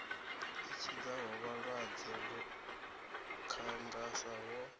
i tshidzaho vhalwadze lukhangasa ho